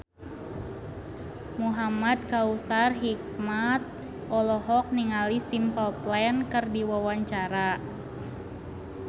Muhamad Kautsar Hikmat olohok ningali Simple Plan keur diwawancara